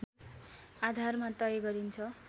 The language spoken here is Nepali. आधारमा तय गरिन्छ